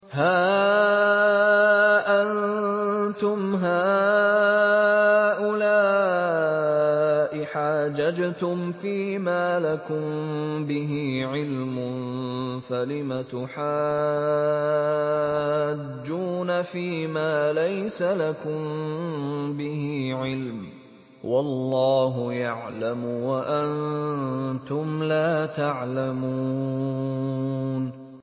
هَا أَنتُمْ هَٰؤُلَاءِ حَاجَجْتُمْ فِيمَا لَكُم بِهِ عِلْمٌ فَلِمَ تُحَاجُّونَ فِيمَا لَيْسَ لَكُم بِهِ عِلْمٌ ۚ وَاللَّهُ يَعْلَمُ وَأَنتُمْ لَا تَعْلَمُونَ